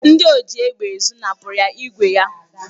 Ndị oji égbè ezụ napụrụ ya ígwè ya.